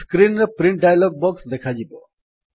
screen ରେ print dialog box ଦେଖାଯିବ